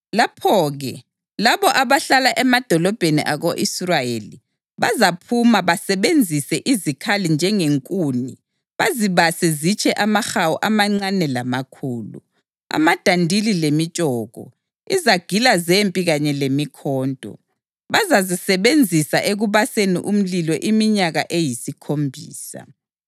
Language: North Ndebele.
Lapho-ke labo abahlala emadolobheni ako-Israyeli bazaphuma basebenzise izikhali njengenkuni bazibase zitshe amahawu amancane lamakhulu, amadandili lemitshoko, izagila zempi kanye lemikhonto. Bazazisebenzisa ekubaseni umlilo iminyaka eyisikhombisa.